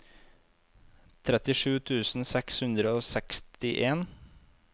trettisju tusen seks hundre og sekstien